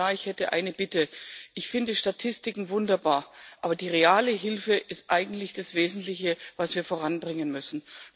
Und Herr Kommissar, ich hätte eine Bitte Ich finde Statistiken wunderbar, aber die reale Hilfe ist eigentlich das Wesentliche, was wir voranbringen müssen.